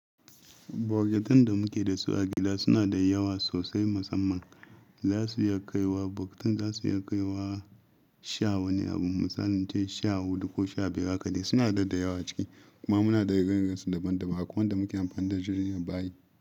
Bokitan da muke da su a gida suna da yawa sosai. Musamman za su iya kaiwa bokitan za su iya kaiwa sha wani abun mu sanance sha huɗu ko sha biyar haka ne suna daidai yawa ciki kuma muna da irin-irin su daban-daban. Hakowan da muke amfani da jirgin ya bayi.